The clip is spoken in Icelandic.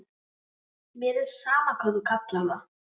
Mér er sama hvað þú kallar það.